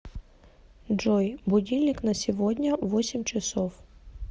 джой будильник на сегодня восемь часов